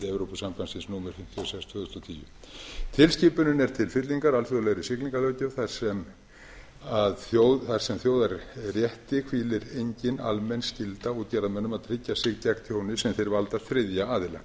evrópusambandsins númer fimmtíu og sex tvö þúsund og tíu tilskipunin er til til fyllingar alþjóðlegri siglingalöggjöf þar sem að þjóðarétti hvílir engin almenn skylda á útgerðarmönnum að tryggja sig gegn tjóni sem þeir valda þriðja aðila